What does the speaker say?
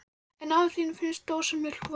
En afa þínum finnst dósamjólk vond.